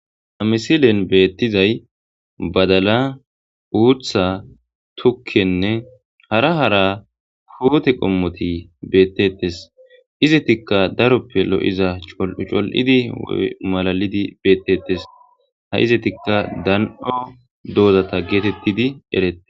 ha misilen beettizay badala uutha tukkenne hara hara hoote qommoti beettettes izetikka daroppe lo7iza col7ucol7idi malalidi beettettes ha izetikka dan7o doozata geetettidi erete